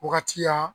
Wagati ya